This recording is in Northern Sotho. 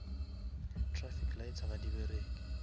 traffic lights ga di bereke